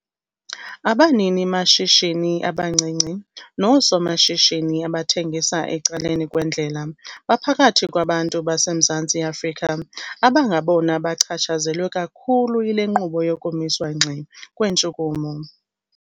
Abaninimashishini abancinci noosomashishini abathengisa ecaleni kwendlela baphakathi kwabantu baseMzantsi Afrika abangabona bachatshazelwe kakhulu yile nkqubo yokumiswa ngxi kweentshukumo.